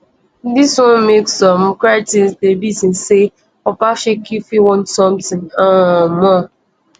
dis wan make some critics dey reason say obaseki fit want sometin um more